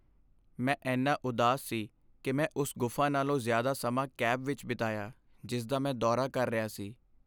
ਮੈਂ ਇੰਨਾ ਉਦਾਸ ਸੀ ਕਿ ਮੈਂ ਉਸ ਗੁਫ਼ਾ ਨਾਲੋਂ ਜ਼ਿਆਦਾ ਸਮਾਂ ਕੈਬ ਵਿੱਚ ਬਿਤਾਇਆ ਜਿਸਦਾ ਮੈਂ ਦੌਰਾ ਕਰ ਰਿਹਾ ਸੀ।